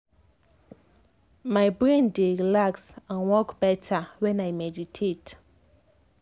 my brain dey relax and work better when i meditate.